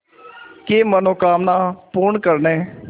की मनोकामना पूर्ण करने